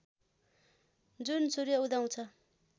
जुन सूर्य उदाउँदछ